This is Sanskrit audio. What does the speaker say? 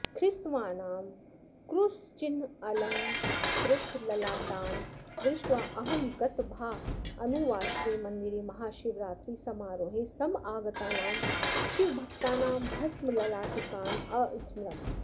ख्रिस्तवानां क्रूसचिह्नालङ्कृतललाटान् दृष्ट्वा अहं गतभानुवासरे मन्दिरे महाशिवरात्रिसमारोहे समागतानां शिवभक्तानां भस्मललाटिकान् अस्मरम्